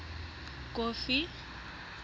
kofi